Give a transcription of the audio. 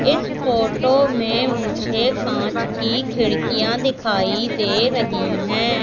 इस फोटो में मुझे कांच की खिड़कियां दिखाई दे रही है।